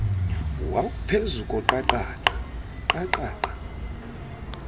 wawuphezu koqaqaqa qaqaqa